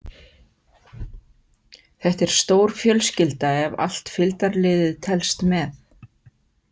Þetta er stór fjölskylda ef allt fylgdarliðið telst með.